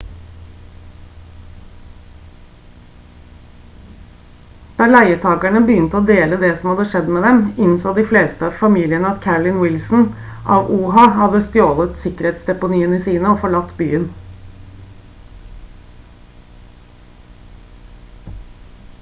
da leietakerne begynte å dele det som hadde skjedd med dem innså de fleste av familiene at carolyn wilson av oha hadde stjålet sikkerhetsdeponiene sine og forlatt byen